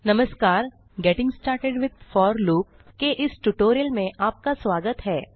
नमस्कार getting started with for loop के इस ट्यूटोरियल में आपका स्वागत है